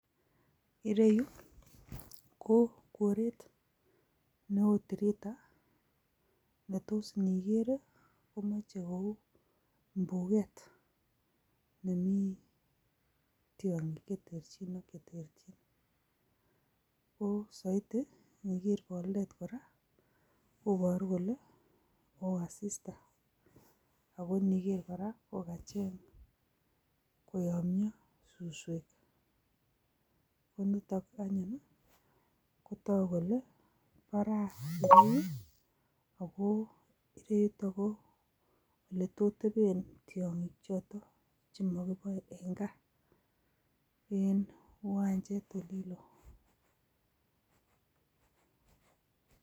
Ireyu ko koret newo tirita, netoos indikeer komoche kou boldet nemii tiongiik che terchin ak cheterchin. Ko soiti ko indiker boldet kora kobooru kole mowo asista, ako indiker kora kokacheng koyomyoo suswek. En ireyu kora kotoguu kole baraa tirii, ako ireyu ko oletostebeen tiongiik chotok chemokiboe en gaa. En iwanjet olin loo.